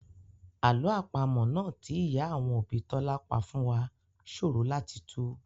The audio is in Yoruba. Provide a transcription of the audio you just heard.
Àlọ́ àpamọ́ náà tí ìyá àwọn òbí Tọ́lá pa fún wá ṣòro láti tù